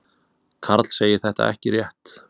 Karl segir þetta ekki rétt.